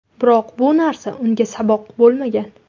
Biroq bu narsa unga saboq bo‘lmagan.